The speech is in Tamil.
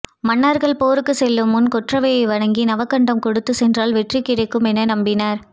மன்னர்கள் போருக்குச் செல்லும் முன் கொற்றவையை வணங்கி நவகண்டம் கொடுத்துச் சென்றால் வெற்றி கிடைக்கும் என நம்பினர்